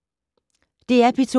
DR P2